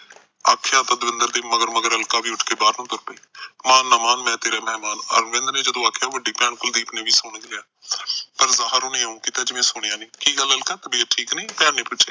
ਆਖਿਆ ਦਵਿੰਦਰ ਦੇ ਮਗਰ ਮਗਰ ਅਲਕਾ ਵੀ ਬਾਹਰ ਨੂੰ ਉਠ ਕੇ ਤੁਰ ਪੀ ਮਾਨ ਨਾ ਮਾਨ ਮੈ ਤੇਰੇ ਮਹਿਮਾਨ ਅਰਵਿੰਦ ਨੇ ਜਦੋ ਆਖਿਆ ਵੱਡੀ ਭੈਣ ਕੁਲਦੀਪ ਨੇ ਸੁਣ ਲਿਆ ਜਿਵੇ ਸੁਣਿਆ ਨਹੀਂ ਕੀ ਗੱਲ ਅਲਕਾ ਤਬੀਅਤ ਠੀਕ ਨੀ ਭੈਣ ਨੇ ਪੁਛਿਆ